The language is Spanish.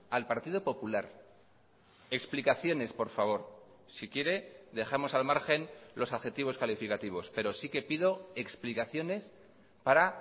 al partido popular explicaciones por favor si quiere dejamos al margen los adjetivos calificativos pero sí que pido explicaciones para